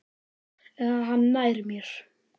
Eða hann nær mér.